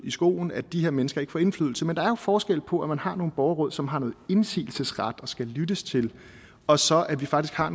i skoen at de her mennesker ikke får indflydelse at der er forskel på at man har nogle borgerråd som har noget indsigelsesret og skal lyttes til og så at vi faktisk har